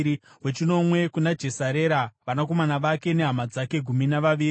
wechinomwe kuna Jesarera, vanakomana vake nehama dzake—gumi navaviri;